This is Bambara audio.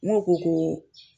N go ko ko